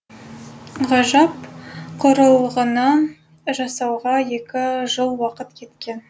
ғажап құрылғыны жасауға екі жыл уақыт кеткен